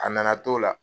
A nana t'o la